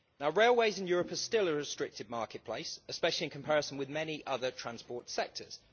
Railways in Europe are still a restricted marketplace, especially in comparison with many other transport sectors.